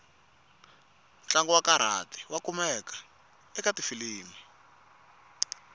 ntlangu wakarati wakumeka ekatifilimu